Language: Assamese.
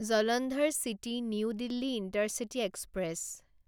Jalandhar city new Delhi intercity express